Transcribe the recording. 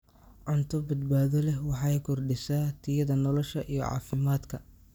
Cunto badbaado leh waxay kordhisaa tayada nolosha iyo caafimaadka.